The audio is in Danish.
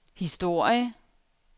historie